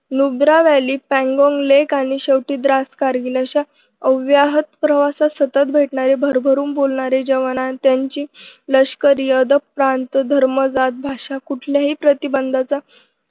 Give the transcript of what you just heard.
नुब्रावली पॅंगॉन्गलेग आणि शेवटी द्रास कारगिल अशा अव्याहत प्रवासात सतत भेटणारे भरभरून बोलणारे जवान आणि त्यांची लष्करी अदब प्रांत धर्म जात भाषा कुठल्याही प्रतिबंधाचा